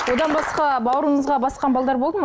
одан басқа бауырыңызға басқан балалар болды ма